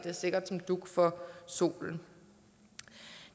sikkert som dug for solen